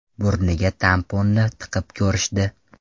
Burniga tamponni tiqib ko‘rishdi.